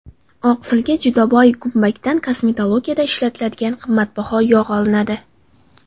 Oqsilga juda boy g‘umbakdan kosmetologiyada ishlatiladigan qimmatbaho yog‘ olinadi.